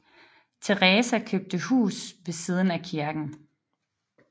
Teresa købte et hus ved siden af kirken